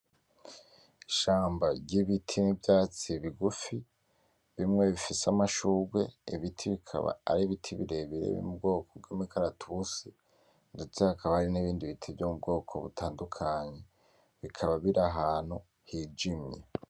Ishamba ry'ibiti n'ivyatsi bigufi, bimwe bifise amashugwe ibiti bikaba ari ibiti birebire ubwoko bwo muri imikaratusi. Ndetse haka hari nibindi biti vyo mu bwoko butandukanye bikaba biri ahantu hijimye.